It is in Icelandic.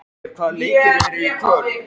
Jagger, hvaða leikir eru í kvöld?